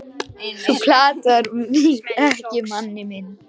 þú platar mig ekki manni minn.